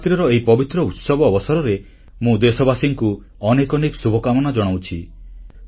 ନବରାତ୍ରିର ଏହି ପବିତ୍ର ଉତ୍ସବ ଅବସରରେ ମୁଁ ଦେଶବାସୀମାନଙ୍କୁ ଅନେକ ଅନେକ ଶୁଭକାମନା ଜଣାଉଛି